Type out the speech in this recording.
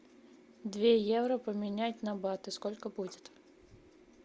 две евро поменять на баты сколько будет